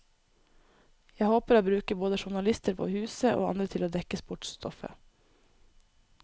Jeg håper å bruke både journalister på huset, og andre til å dekke sportsstoffet.